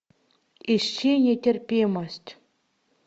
ищи нетерпимость